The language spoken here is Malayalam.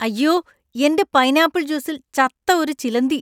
അയ്യോ! എന്‍റെ പൈനാപ്പിൾ ജ്യൂസിൽ ചത്ത ഒരു ചിലന്തി.